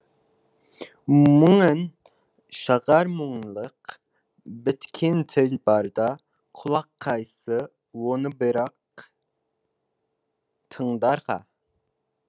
мұңын шағар мұңлық біткен тіл барда құлақ қайсы оны бірақ тыңдарға